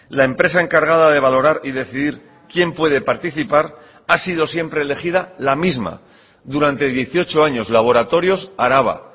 la empresa encargada de valorar y decidir quién puede participar ha sido siempre elegida la misma durante dieciocho años laboratorios araba